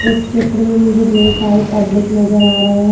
इस चित्र में मुझे ढेर सारे पब्लिक नजर आ रहे हैं।